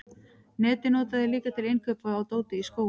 netið nota þeir líka til innkaupa á dóti í skóinn